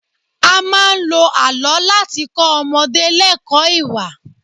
A máa ń lo àlọ́ láti kọ́ ọmọdé lẹkọ̀ọ́ ìwà